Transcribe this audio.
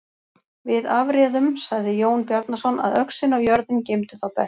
Við afréðum, sagði Jón Bjarnason,-að öxin og jörðin geymdu þá best.